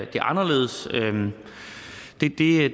det anderledes